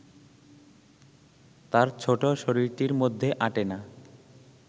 তার ছোট শরীরটির মধ্যে আঁটে না